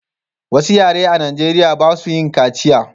Wasu yare a najeriya ba su yin kaciya